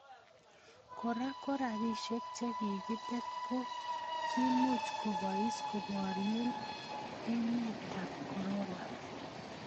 Kora ko robishiek che kikitet ko kiimuch kobois koborie emetab korona